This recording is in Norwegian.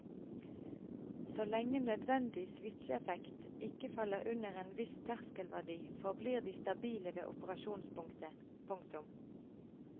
Så lenge nødvendig svitsjeeffekt ikke faller under en viss terskelverdi forblir de stabile ved operasjonspunktet. punktum